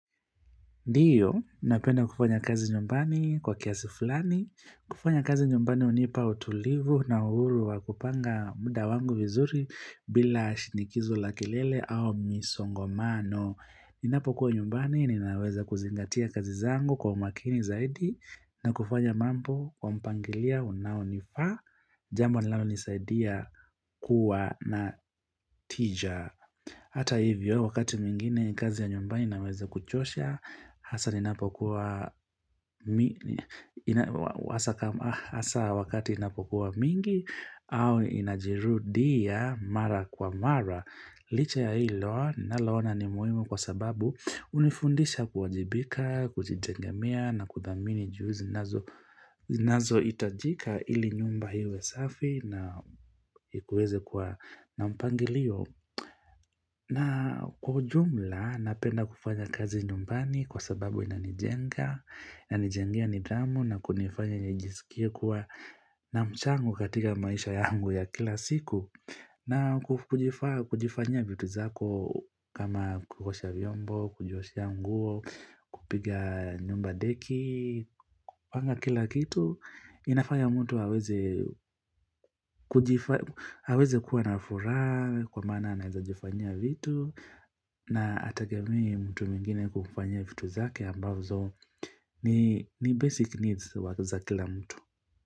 Ndiyo, napenda kufanya kazi nyumbani kwa kiasi fulani, kufanya kazi nyumbani hunipa utulivu na uhuru wa kupanga muda wangu vizuri bila shinikizo la kelele au misongomano. Ninapokuwa nyumbani, ninaweza kuzingatia kazi zangu kwa umakini zaidi, na kufanya mambo kwa mpangilio unaonifaa, jambo linalonisaidia kuwa na tija. Hata hivyo wakati mwingine kazi ya nyumba inaweze kuchosha, hasa zinapokuwa, hasa wakati inapokuwa mingi au inajirudia mara kwa mara. Licha ya hilo naloona ni muhimu kwa sababu hunifundisha kuwajibika, kujitegemea na kudhamini juu zinazohitajika ili nyumba iwe safi na iweze kuwa na mpangilio. Na kwa ujumla napenda kufanya kazi nyumbani kwa sababu inanijenga, inanijengea nidhamu na kunifanya nijisikie kuwa na chango katika maisha yangu ya kila siku. Na kujifanyia vitu zako kama kuosha vyombo, kujioshea nguo, kupiga nyumba deki, kupanga kila kitu, inafanya mtu aweze aweze kuwa na furaha kwa maana anawezajifanyia vitu na hategemei mtu mwingine kumfanyia vitu zake ambazo ni basic needs wa, za kila mtu.